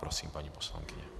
Prosím, paní poslankyně.